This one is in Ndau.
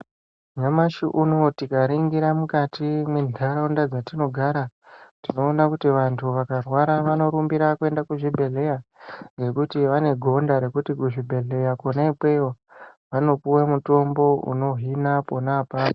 Nyamashi unouyu tikaringira mukati mwentaraunda dzatinogara. Tinona kuti vantu vakarwara vanorumbira kuenda kuzvibhedhleya. Ngekuti vanegonda rekuti kuzvibhedhleya kona ikweyo vanopuva mutombo unohina pona apapo.